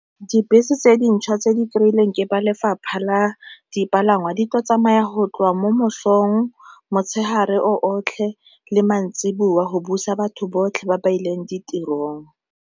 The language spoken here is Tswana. Dibese tse dintšhwa tse di kry-ilweng ke ba lefapha la dipalangwa di tla tsamaya go tloga mo mosong, motshegare o otlhe le maitsiboa go busa batho botlhe ba ba ileng ditirong.